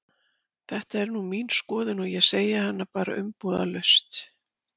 Þetta er nú mín skoðun og ég segi hana bara umbúðalaust.